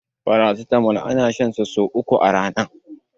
paracetamol ana shan sa sai uku a Rana